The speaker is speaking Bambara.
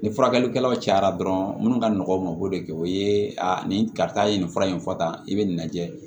Ni furakɛlikɛlaw cayara dɔrɔn minnu ka nɔgɔn mako de o ye a nin karisa ye nin fura in fɔ tan i bɛ nin lajɛ